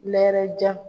Nɛɛrɛjan